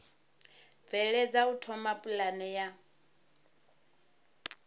bveledza u thoma pulane ya